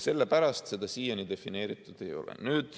Sellepärast seda siiani defineeritud ei ole.